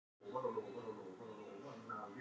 Hér sést glóandi stál á færibandi.